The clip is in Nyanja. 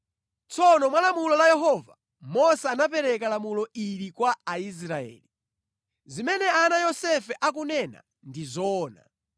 Tsono mwa lamulo la Yehova, Mose anapereka lamulo ili kwa Aisraeli: “Zimene ana a Yosefe akunena ndi zoona.